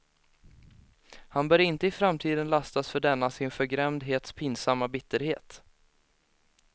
Han bör inte i framtiden lastas för denna sin förgrämdhets pinsamma bitterhet.